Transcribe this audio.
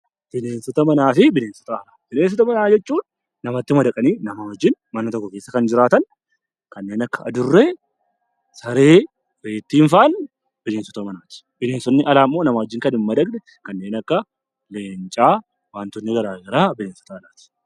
Bineensota Manaa fi Bineensota Alaa Bineensota manaa jechuun namatti madaqanii namaa wajjin mana tokko keessa kan jiraatan kanneen akka adurree, saree, reettiin faan bineensota manaati. Bineensonni alaa immoo namaa wajjin kan hin madaqne kanneen akka leencaa, wantoonni garaagaraa bineensota alaati.